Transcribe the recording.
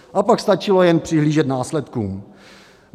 A pak stačilo jen přihlížet následkům.